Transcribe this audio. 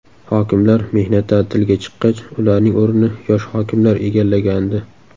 Hokimlar mehnat ta’tiliga chiqqach ularning o‘rnini yosh hokimlar egallagandi.